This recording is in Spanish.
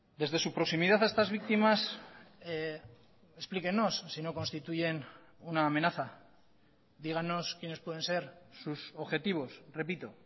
desde su proximidad a estas víctimas explíquennos si no constituyen una amenaza dígannos quienes pueden ser sus objetivos repito